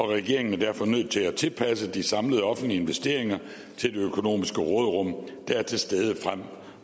regeringen er derfor nødt til at tilpasse de samlede offentlige investeringer til det økonomiske råderum der er til stede frem